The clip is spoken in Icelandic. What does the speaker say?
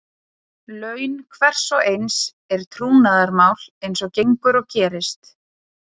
Laun hvers og eins er trúnaðarmál eins og gengur og gerist.